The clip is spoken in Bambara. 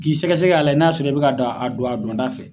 K'i sɛgɛsɛ k'a layɛ n'a sɔrɔ i be k' a don a dɔnda fɛ